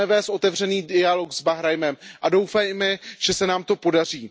Chceme vést otevřený dialog s Bahrajnem a doufejme, že se nám to podaří.